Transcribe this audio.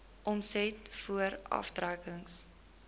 omset voor aftrekkings